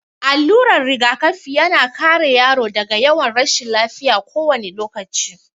Allurar rigakafi ya na kare yaro daga yawan rashin lafiya kowane lokaci.